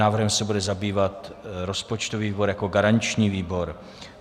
Návrhem se bude zabývat rozpočtový výbor jako garanční výbor.